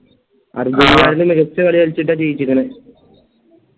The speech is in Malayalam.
മികച്ച കളി കളിച്ചിട്ട ജയിച്ചക്കാണ്